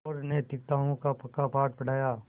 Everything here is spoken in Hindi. और नैतिकताओं का पक्का पाठ पढ़ाया